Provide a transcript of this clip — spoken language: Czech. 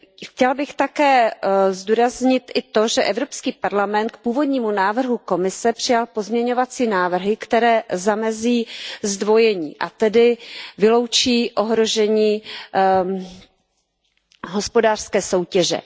Chtěla bych také zdůraznit i to, že Evropský parlament k původnímu návrhu Evropské komise přijal pozměňovací návrhy, které zamezí zdvojení, a tedy vyloučí ohrožení hospodářské soutěže.